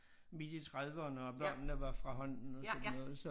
Midt i trediverne og børnene var fra hånden og sådan noget så